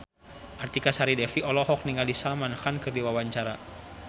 Artika Sari Devi olohok ningali Salman Khan keur diwawancara